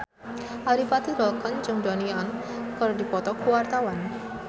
Adipati Dolken jeung Donnie Yan keur dipoto ku wartawan